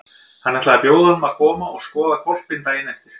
Hann ætlaði að bjóða honum að koma og skoða hvolpinn daginn eftir.